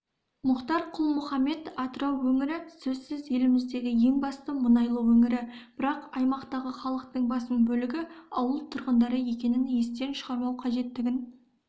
мұхтар құл-мұхаммед атырау өңірі сөзсіз еліміздегі ең басты мұнайлы өңірі бірақ аймақтағы халықтың басым бөлігі ауыл тұрғындары екенін естен шығармау қажеттігін